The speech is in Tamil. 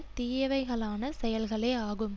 தீயவைகளான செயல்களேயாகும்